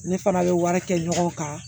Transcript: Ne fana bɛ wari kɛ ɲɔgɔn kan